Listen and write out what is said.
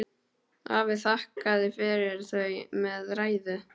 Afi þakkaði fyrir þau með ræðu.